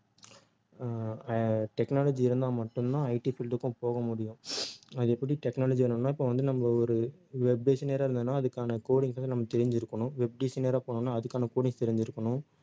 ஆஹ் அஹ் technology இருந்தா மட்டும்தான் IT field க்கும் போக முடியும் அது எப்படி technology வேணும்னா இப்போ வந்து நம்ம ஒரு web designer ஆ இருந்தோம்ன்னா அதுக்கான codings வந்து நம்ம தெரிஞ்சிருக்கணும் web designer ஆ போனோம்ன்னா அதுக்கான codings தெரிஞ்சிருக்கணும்